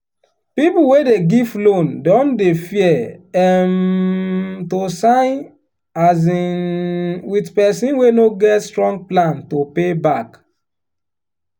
people wey dey give loan don dey fear um to sign um with person wey no get strong plan to pay back.